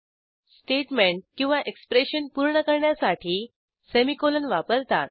statement किंवा expression पूर्ण करण्यासाठी सेमीकोलन वापरतात